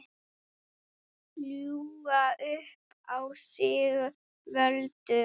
Ljúga upp á sig völdum?